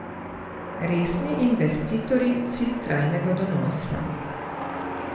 Resni investitorji cilj trajnega donosa.